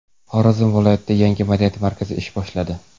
Xorazm viloyatida yangi madaniyat markazi ish boshladi.